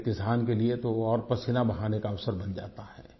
लेकिन किसान के लिए तो और भी पसीना बहाने का अवसर बन जाता है